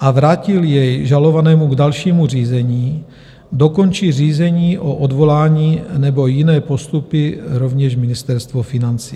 a vrátil jej žalovanému k dalšímu řízení, dokončí řízení o odvolání nebo jiné postupy rovněž Ministerstvo financí.